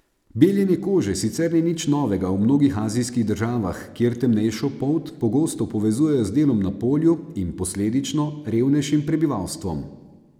Beljenje kože sicer ni nič novega v mnogih azijskih državah, kjer temnejšo polt pogosto povezujejo z delom na polju in, posledično, revnejšim prebivalstvom.